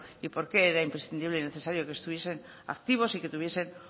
y por qué era imprescindible y necesario que estuviesen activos y que tuviesen